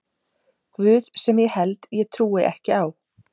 guð sem ég held ég trúi ekki á.